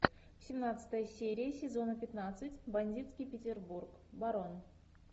семнадцатая серия сезона пятнадцать бандитский петербург барон